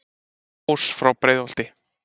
ás frá breiðholti